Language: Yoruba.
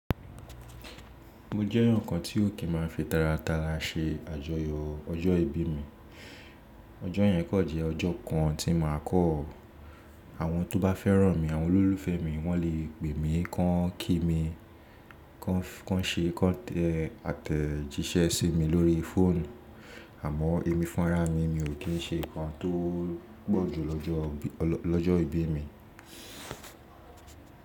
Mo jẹ́ eeyan kan tí ó kí n má a fi tàràtàlà ṣe àjọyọ̀ ọjọ́ ìbí mi. Ọjọ́ yẹn kan jẹ́ ọjọ́ kan tí màá kọ̀. Àwọn tó bá fẹ́ràn mi, àwọn olólùfẹ́ mi wọ́n lè pè mí, kàn kí mi, kàn ṣe te àtẹ̀jíṣẹ́ sí mi lórí fóònù, àmọ́ èmi fún ara mi mi ò kí n ṣe nǹkan tó pọ̀ju lọ́jọ́ ìbí mi.